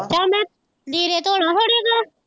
ਚੱਲ ਮੈਂ ਲੀੜੇ ਧੋ ਲਾ ਹੁਣੇ,